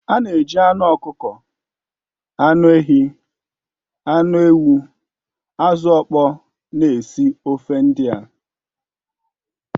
A na-eji anụ ọkụkọ, anụ ehi, anụ ewu, azụ̀ ọkpọ na-esi ofe ndị a